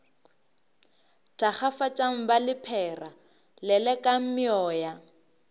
thakgafatšang ba lephera lelekang meoya